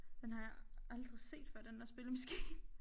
Den har jeg aldrig set før den der spillemaskine